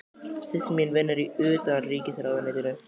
Systir mín vinnur í Utanríkisráðuneytinu.